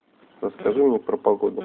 расскажи мне про погоду